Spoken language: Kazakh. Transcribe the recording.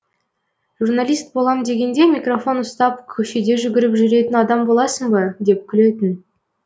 журналист болам дегенде микрофон ұстап көшеде жүгіріп жүретін адам боласын ба деп күлетін